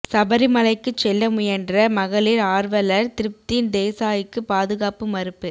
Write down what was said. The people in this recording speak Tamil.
சபரிமலைக்குச் செல்ல முயன்ற மகளிா் ஆா்வலா் திருப்தி தேசாய்க்கு பாதுகாப்பு மறுப்பு